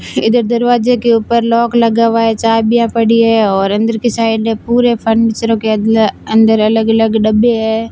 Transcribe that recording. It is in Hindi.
इधर दरवाजे के ऊपर लॉक लगा हुआ है चाभियां पड़ी है और अंदर की साइड में पूरे फर्नीचर अंदर अलग अलग डब्बे है।